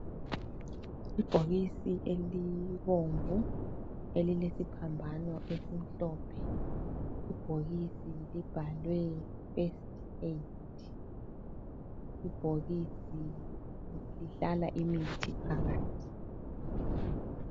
Ibhokisi elibomvu elilesiphambano esimhlophe. Ibhokisi libhalwe first aid. Ibhokisi lihlala imithi phakathi.